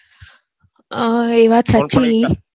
અ એ વાત સાચી